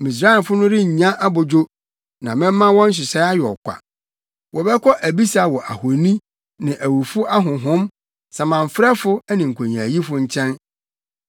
Misraimfo no rennya abodwo, na mɛma wɔn nhyehyɛe ayɛ ɔkwa. Wɔbɛkɔ abisa wɔ ahoni, ne awufo ahonhom, samanfrɛfo ne nkonyaayifo nkyɛn.